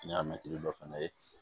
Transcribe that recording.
N y'a mɛtiri dɔ fana ye